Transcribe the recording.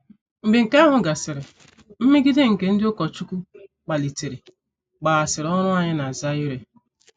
Mgbe nke ahụ gasịrị, mmegide nke ndị ụkọchukwu kpalitere kpaghasịrị ọrụ anyị na Zaire.